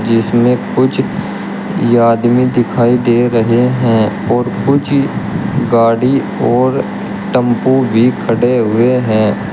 जिसमें कुछ आदमी दिखाई दे रहे हैं और कुछ गाड़ी और टेंपो भी खड़े हुए हैं।